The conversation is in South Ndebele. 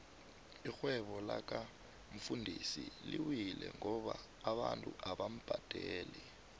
irhwebo laka mfundisi liwile ngoba abantu abamubadeli